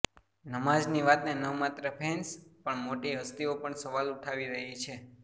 નમાઝની વાતને ન માત્ર ફેન્સ પણ મોટી હસ્તીઓ પણ સવાલ ઉઠાવી રહી છે